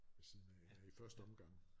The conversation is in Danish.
Ved siden af i første omgang